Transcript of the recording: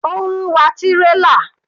Ó ń wa tírélà.